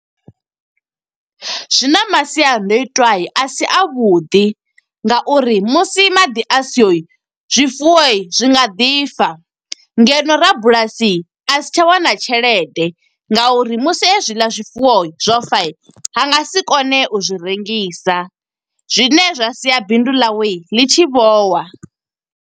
Zwi na masiandoitwa a si a vhuḓi, nga uri musi maḓi a siho, zwifuwo zwi nga ḓi fa. Ngeno rabulasi a si tsha wana tshelede, nga uri musi hezwiḽa zwifuwo zwo fa, a nga si kone u zwi rengisa. Zwine zwa sia bindu ḽawe, ḽi tshi vho wa.